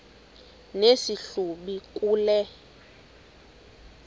nesi hlubi kule